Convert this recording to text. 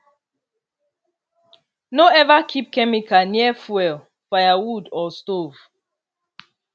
no ever keep chemical near fuel firewood or stove